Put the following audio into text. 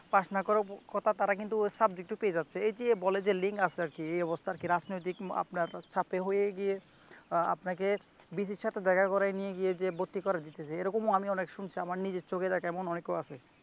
pass না করার কথা তারা কিন্তু সাবজেক্ট পেয়ে যাচ্ছে এই যে বলে যে লিংক আছে আর কি এই অবস্থা আর কি রাজনৈতিক আপনার সাথে হয়ে গিয়ে আহ আপনাকে ভিসিএর সাথে দেখা করায় নিয়ে গিয়ে যে ভর্তি করার বিষয় এইরকম আমি অনেক শুনেছি আমার নিজের চোখে দেখা এমন অনেকে আছে